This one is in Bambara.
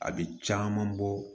A bɛ caman bɔ